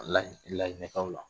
Layi lajinɛkaw la